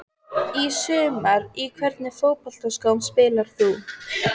Í sumar Í hvernig fótboltaskóm spilar þú?